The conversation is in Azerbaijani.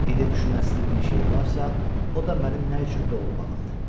İndi düşünəsi bir şey varsa, o da mənim nə üçün doğulmağımdır.